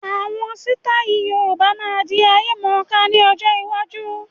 Àwọn sítai Yorùbá máa di ayemọ̀ká ni ọjọ́ iwájú.